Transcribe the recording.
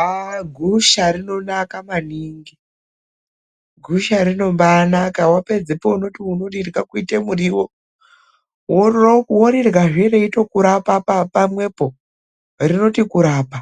Aaaa!!!,gusha rinonaka maningi. Gusha rinombaanaka wapedzepo unoti unorirya kuite muriwo, woriryazve reyitokurapa pamwepo. Rinoti kurapa